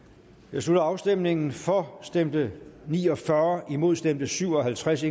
jeg slutter afstemningen for stemte ni og fyrre imod stemte syv og halvtreds